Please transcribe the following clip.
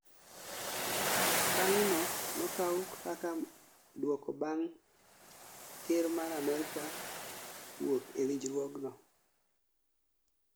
Okang' no nokau kaka duoko bang' ker mar amerka wuok e winjruok no